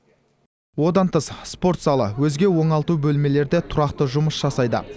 одан тыс спорт залы өзге оңалту бөлмелері де тұрақты жұмыс жасайды